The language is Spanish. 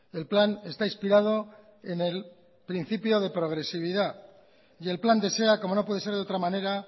el plan está inspirado en el principio de progresividad y el plan desea como no puede ser de otra manera